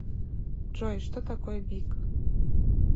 джой что такое бик